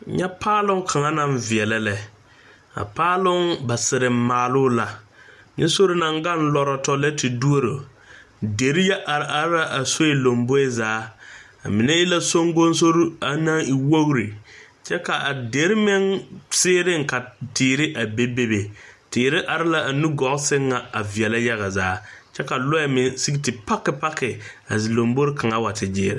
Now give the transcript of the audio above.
Nyɛ paaloŋ kaŋa naŋ veɛlɛ lɛ a paaloŋ ba sireŋ maaloo la nyɛ sore naŋ gaŋ lɔrɔtɔ lɛ te duoro derre yɛ are are la a soe lomboe zaa a mine e la Soŋkoŋsorre na naŋ e wogre kyɛ ka a derre meŋ seeriŋ ka teere a be be teere are la a nugɔɔ sɛŋ na a veɛlɛ yaga zaa kyɛ ka lɔ meŋ sige te paki paki a lombore kaŋa wa te gyeere.